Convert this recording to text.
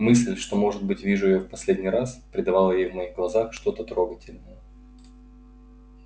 мысль что может быть вижу её в последний раз придавала ей в моих глазах что-то трогательное